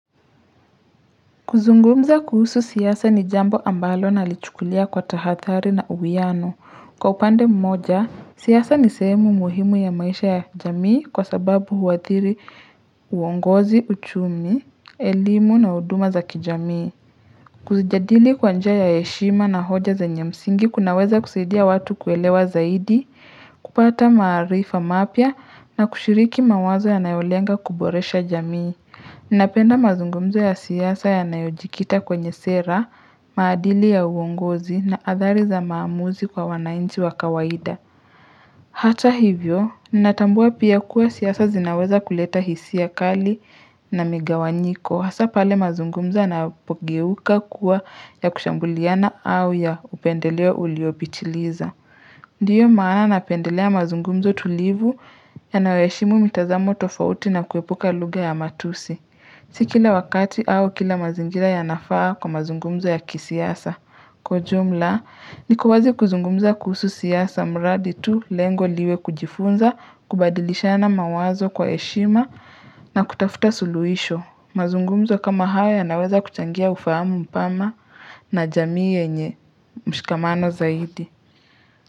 Kuzungumza kuhusu siasa ni jambo ambalo nalichukulia kwa tahadhari na uwiano. Kwa upande mmoja, siasa ni sehemu muhimu ya maisha ya jamii kwa sababu huathiri uongozi, uchumi, elimu na huduma za kijamii. Kuzijadili kwa njia ya heshima na hoja zenye msingi kunaweza kusaidia watu kuelewa zaidi, kupata maarifa mapya na kushiriki mawazo yanayolenga kuboresha jamii. Ninapenda mazungumzo ya siasa yanayojikita kwenye sera, maadili ya uongozi na athari za maamuzi kwa wanainchi wa kawaida. Hata hivyo, natambua pia kuwa siasa zinaweza kuleta hisia kali na migawanyiko. Hasa pale mazungumzo yanapogeuka kuwa ya kushambuliana au ya upendeleo uliopitiliza. Ndiyo maana napendelea mazungumzo tulivu yayoheshimu mitazamo tofauti na kuepuka lugha ya matusi. Si kila wakati au kila mazingira yanafaa kwa mazungumzo ya kisiasa. Kwa ujumla, niko wazi kuzungumza kuhusu siasa, mraadi tu lengo liwe kujifunza, kubadilishana mawazo kwa heshima, na kutafuta suluhisho. Mazungumzo kama haya yanaweza kuchangia ufahamu mpana na jamii yenye mshikamano zaidi.